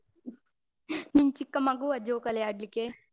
ನೀನ್ ಚಿಕ್ಕ ಮಗುವ ಜೋಕಾಲಿ ಆಡ್ಲಿಕ್ಕೆ?